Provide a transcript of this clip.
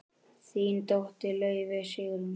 Þín dóttir, Laufey Sigrún.